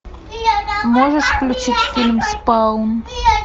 можешь включить фильм спаун